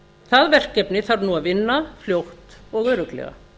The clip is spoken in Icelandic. það verkefni þarf nú að vinna fljótt og örugglega